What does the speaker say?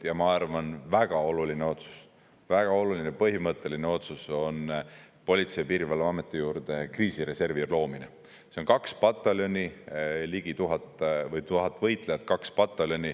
Ja ma arvan, et väga oluline otsus, väga oluline põhimõtteline otsus on Politsei‑ ja Piirivalveameti juurde kriisireservi loomine, see on kaks pataljoni, tuhat võitlejat.